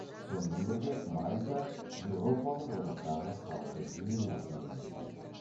сонымен бірге мальта еуропалық одақтағы халқы ең аз мемлекет